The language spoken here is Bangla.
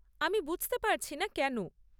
আমি বুঝতে পারছিনা কেন?